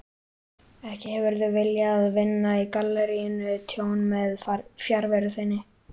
Ekki hefurðu viljað vinna galleríinu tjón með fjarveru þinni?